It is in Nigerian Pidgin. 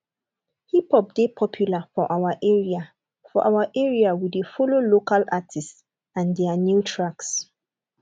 hiphop dey popular for our area for our area we dey follow local artists and their new tracks